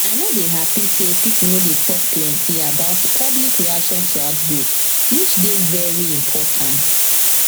i no dey happy say pipo no dey talk plenty about public reaction to outbreak which dey very important